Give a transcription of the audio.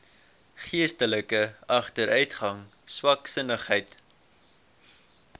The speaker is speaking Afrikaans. geestelike agteruitgang swaksinnigheid